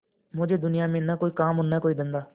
मुझे दुनिया में न और कोई काम है न धंधा